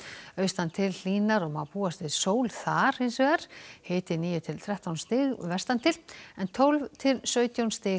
austan til hlýnar og má búast við sól þar hiti níu til þrettán stig vestan til en tólf til sautján stig